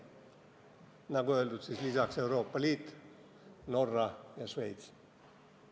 Nagu öeldud, lisaks Euroopa Liit, Norra ja Šveits.